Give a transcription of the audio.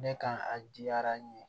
Ne ka a diyara n ye